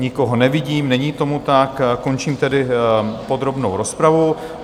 Nikoho nevidím, není tomu tak, končím tedy podrobnou rozpravu.